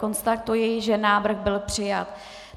Konstatuji, že návrh byl přijat.